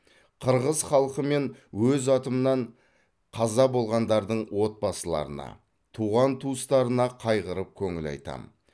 қырғыз халқы мен өз атымнан қаза болғандардың отбасыларына туған туыстарына қайғырып көңіл айтамын